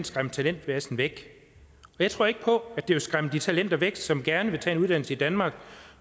skræmt talentmassen væk jeg tror ikke på at det vil skræmme de talenter væk som gerne vil tage en uddannelse i danmark